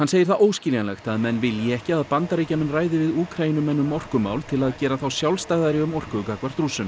segir það óskiljanlegt að menn vilji ekki að Bandaríkjamenn ræði við Úkraínumenn um orkumál til að gera þá sjálfstæðari um orku gagnvart Rússum